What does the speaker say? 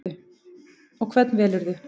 Og hvern velurðu?